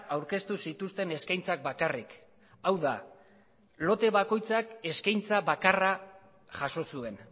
aurkeztu zituzten eskaintzak bakarrik hau da lote bakoitza eskaintza bakarra jaso zuen